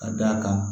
Ka d'a kan